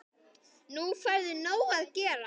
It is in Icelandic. Nú færðu nóg að gera